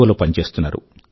ఒ లో పని చేస్తున్నారు